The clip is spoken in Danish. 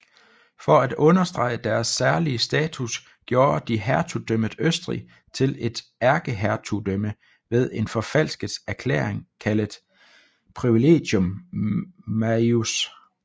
For at understrege deres særlige status gjorde de hertugdømmet Østrig til et ærkehertugdømme ved en forfalsket erklæring kaldet Privilegium Maius